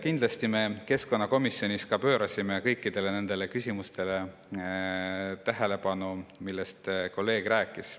Kindlasti me keskkonnakomisjonis pöörasime tähelepanu kõikidele nendele küsimustele, millest kolleeg rääkis.